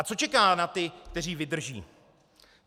A co čeká na ty, kteří vydrží?